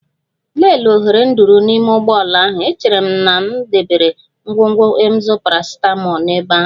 Lelee oghere nduru n'ime ụgbọ ala ahụ, echere m na m debere ngwugwu Emzor paracetamol n'ebe ahụ.